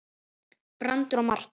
Brandur og Marta.